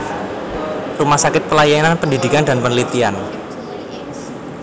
Rumah Sakit Pelayanan Pendidikan dan Penelitian